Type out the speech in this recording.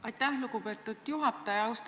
Aitäh, lugupeetud juhataja!